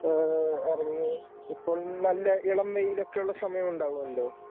ഏഹ് ഇറങ്ങി ഇപ്പോൾ നല്ല ഇളംവെയിലൊക്കെയുള്ള സമയമുണ്ടവുമല്ലോ?